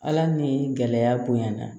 Ala ni gɛlɛya bonya na